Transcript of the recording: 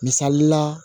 Misali la